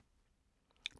DR2